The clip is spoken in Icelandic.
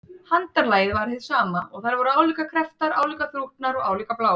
Handarlagið var hið sama, og þær voru álíka krepptar, álíka þrútnar og álíka bláar.